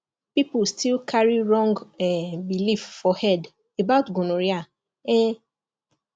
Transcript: people still carry wrong um belief for head about gonorrhea um